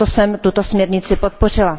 Proto jsem tuto směrnici podpořila.